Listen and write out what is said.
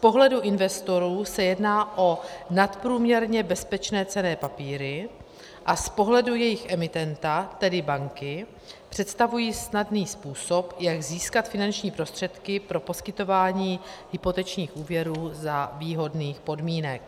Z pohledu investorů se jedná o nadprůměrně bezpečné cenné papíry a z pohledu jejich emitenta, tedy banky, představují snadný způsob, jak získat finanční prostředky pro poskytování hypotečních úvěrů za výhodných podmínek.